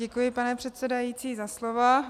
Děkuji, pane předsedající, za slovo.